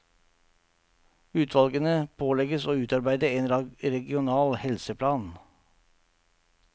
Utvalgene pålegges å utarbeide en regional helseplan.